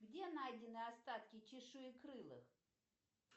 где найдены остатки чешуекрылых